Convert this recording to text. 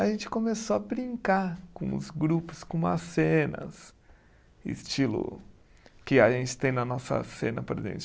A gente começou a brincar com os grupos, com as cenas, estilo que a gente tem na nossa cena presente.